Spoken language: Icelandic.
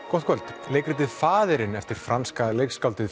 gott kvöld leikritið faðirinn eftir franska leikskáldið